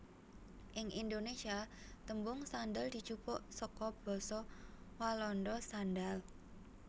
Ing Indonésia tembung sandal dijupuk saka basa Walanda sandaal